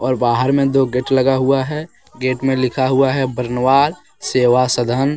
और बाहर में दो गेट लगा हुआ है गेट में लिखा हुआ है बरनवाल सेवा सधन ।